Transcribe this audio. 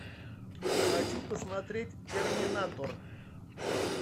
хочу посмотреть терминатор